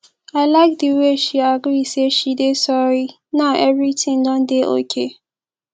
i like the way she agree say she dey sorry now everything don dey okay